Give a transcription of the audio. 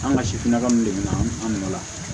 An ka sifinnaka min de bɛ na an nɔ la